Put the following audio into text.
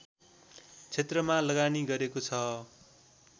क्षेत्रमा लगानी गरेको छ